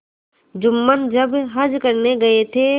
जुम्मन जब हज करने गये थे